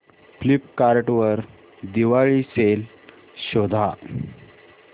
Flipkart वर Diwali sale शोधा